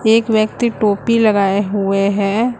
एक व्यक्ति टोपी लगाए हुए हैं।